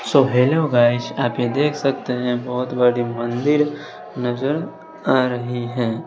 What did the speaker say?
सो hello guys आप ये देख सकते हैं बहोत बड़ी मंदिर नजर आ रही है।